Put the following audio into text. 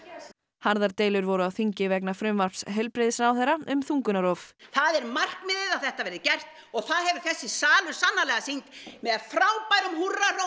harðar deilur voru á þingi vegna frumvarps heilbrigðisráðherra um þungunarrof það er markmiðið að þetta verði gert og það hefur þessi salur sannarlega sýnt með frábærum húrrahrópum